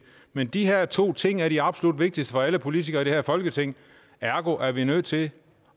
men de her to ting er det absolut vigtigste for alle politikere i det her folketing ergo er vi nødt til